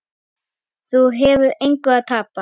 Þú hefur engu að tapa.